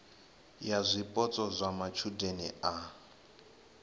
ya zwipotso zwa matshudeni a